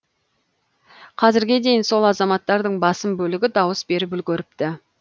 қазірге дейін сол азаматтардың басым бөлігі дауыс беріп үлгеріпті